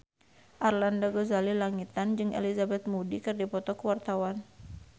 Arlanda Ghazali Langitan jeung Elizabeth Moody keur dipoto ku wartawan